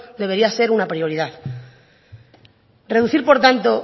debería ser una prioridad reducir por tanto